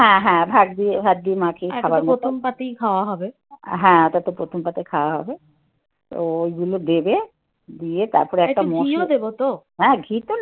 হ্যাঁ হ্যাঁ ভাত দিয়ে ভাত দিয়ে . হ্যাঁ ওটা তো প্রথম পাতে খাওয়া হবে. তো ওইগুলো দেবে. দিয়ে তারপরে একটা মশলা হ্যাঁ ঘি তো